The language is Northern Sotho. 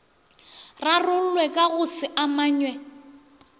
rarollwe ka go se amanywe